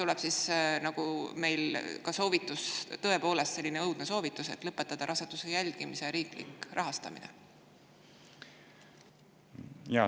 Kas siis tuleb soovitus – tõepoolest selline õudne soovitus – lõpetada ka raseduse jälgimise riiklik rahastamine?